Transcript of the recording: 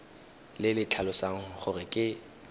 le le tlhalosang gore ke